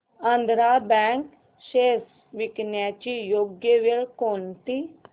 Andhra bank shares विकण्याची योग्य वेळ कोणती